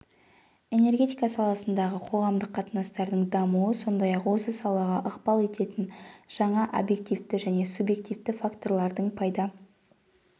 энергетика саласындағы қоғамдық қатынастардың дамуы сондай-ақ осы салаға ықпал ететін жаңа объективті және субъективті факторлардың пайда